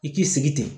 I k'i sigi ten